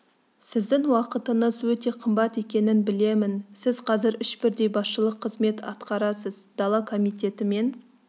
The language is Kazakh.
сіздің уақытыңыз өте қымбат екенін білемін сіз қазір үш бірдей басшылық қызмет атқарасыз дала комитеті мен